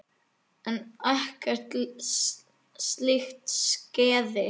En ekkert slíkt skeði.